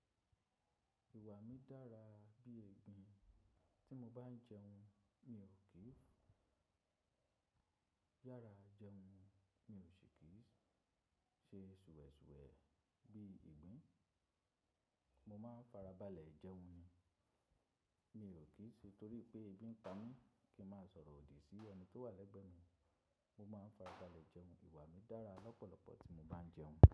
Ìwà mi dára bí ìgbín, tí mo bá ń jẹun mi ò kí ń yára jẹun, mi ò ṣe kì í ṣe ṣùwẹ̀ ṣùwẹ̀ bí ìgbín. Mo máa ń farabalẹ̀ jẹun ni, mi ò kí ṣe torí pé ebi ń pa mí kí n má sọ̀rọ̀ òdì sí ẹni tó wà lẹ́gbẹ̀ẹ́ mi, mo máa ń farabalẹ̀ jẹun. Ìwà mi dára lọ́pọ̀lọpọ̀ tí mo bá ń jẹun.